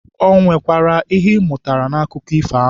Ọ nwekwara ihe ị mụtara n'akụkọ ifo ahụ?